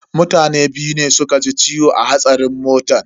Mutane biyu ne suka ji ciwo a hatsarin motan.